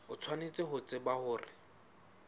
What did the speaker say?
o tshwanetse ho tseba hore